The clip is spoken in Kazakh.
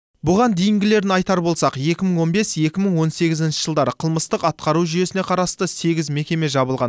бұған дейінгілерін айтар болсақ екі мың он бес екі мың он сегізінші жылдары қылмыстық атқару жүйесіне қарасты сегіз мекеме жабылған